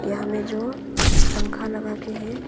वहाँ में जो पंखा लगा के है।